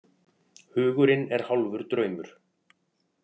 Hugurinn er hálfur draumur.